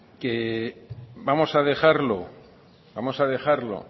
que vamos a dejarlo vamos a dejarlo